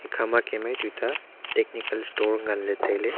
ekha ma kem e tuta technical store ngan ley tai ley.